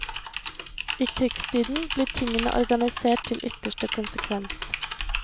I krigstiden, blir tingene organisert til ytterste konsekvens.